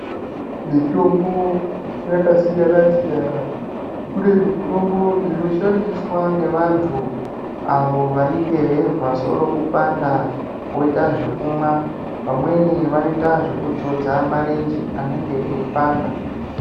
Mitombo yakasiyana siyana. Kune mitombo inoshandisa ngevantu avo vanenge veizwa soro kupanda voita zvekumwa. Vamweni vanoita zvekudzodza marenje anenge eipanda.